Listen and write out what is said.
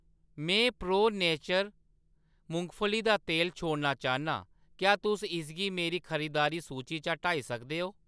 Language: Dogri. में प्रो नेचर मुंगफली दा तेल छोड़ना चाह्‌न्नां, क्या तुस इसगी मेरी खरीदारी सूची चा हटाई सकदे ओ ?